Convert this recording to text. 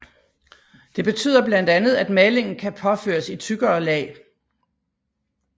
Det betyder blandt andet at malingen kan påføres i tykkere lag